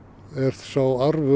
sá